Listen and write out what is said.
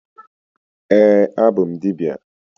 Ee, abụ m dibịa.